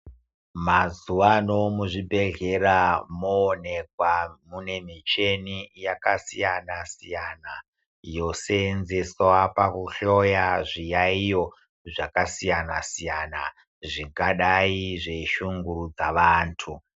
Mazuvaano muzvibhedhlera moonekwa mune muchini yakasiyana siyana yoseenzeswa pakuhloya zviyaiyo zvakasiyana siyana zvingadai zveishurudza vantu.